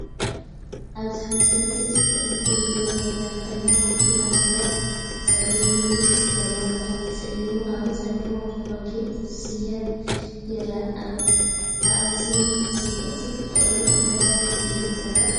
ኣብዚ ሓንቲ መንእሰይ ጽቡቕን ፍሉይን ባህላዊ ክዳን ተኸዲና ኮፍ ኢላ ትርአ። ብጸሊምን ሉልን ቅርጺ ዘለዎ ክዳን ተሰሊማ፡ ኣብ ርእሳ ድማ ወርቃዊ ጌጽ ስየ ይርአ። ብኣዝዩ ጽብቕትን ፍቕርን ኣገባብ ኮፍ ኢላ ትርአ።